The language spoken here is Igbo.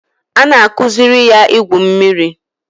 A na-akụziri ya igwu mmiri